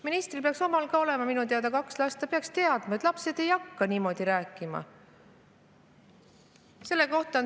Ministril peaks minu teada olema kaks last, ta peaks teadma, et lapsed ei hakka niimoodi rääkima.